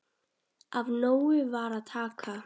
Af nógu var að taka.